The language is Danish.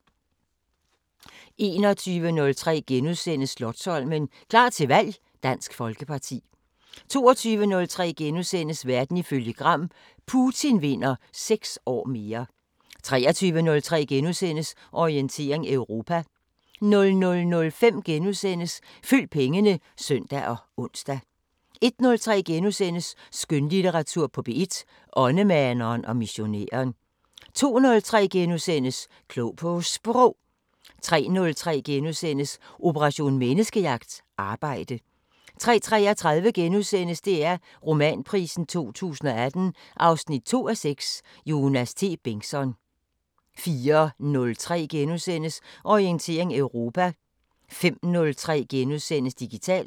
21:03: Slotsholmen – klar til valg: Dansk Folkeparti * 22:03: Verden ifølge Gram: Putin vinder 6 år mere * 23:03: Orientering Europa * 00:05: Følg pengene *(søn og ons) 01:03: Skønlitteratur på P1: Åndemaneren og missionæren * 02:03: Klog på Sprog * 03:03: Operation Menneskejagt: Arbejde * 03:33: DR Romanprisen 2018 2:6 – Jonas T. Bengtsson * 04:03: Orientering Europa * 05:03: Digitalt *